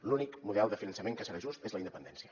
l’únic model de finançament que serà just és la independència